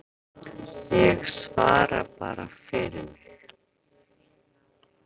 Ég svara bara fyrir mig.